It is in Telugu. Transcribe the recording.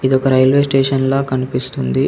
ఇది ఒక రైల్వే స్టేషన్ ల కనిపిస్తుంది.